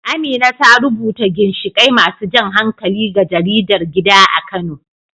Amina ta rubuta ginshiƙai masu jan hankali ga jaridar gida a Kano.